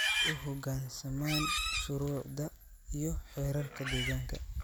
u hoggaansamaan shuruucda iyo xeerarka deegaanka